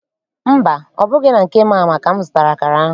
Mba, ọ bụghị na nke Mama ka m zụtara akara ahụ.